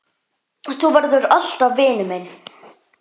Þú verður alltaf vinur minn.